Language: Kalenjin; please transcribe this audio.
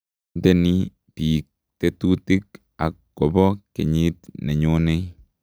Intenik biik tetutik ak kobo kenyir ne nyonei.